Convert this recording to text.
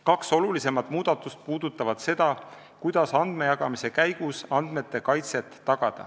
Kaks olulisemat muudatust puudutavad seda, kuidas andmejagamise käigus tagada andmete kaitset.